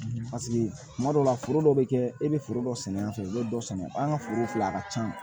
kuma dɔw la foro dɔw be kɛ e be foro dɔ sɛnɛ yan fɛ i be dɔ sɛnɛ an ka foro filɛ a ka ca